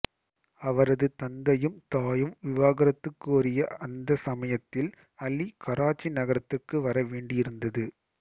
அவரது தந்தையும் தாயும் விவாகரத்து கோரிய அந்த சமயத்தில் அலி கராச்சி நகரத்திற்கு வர வேண்டியிருந்தது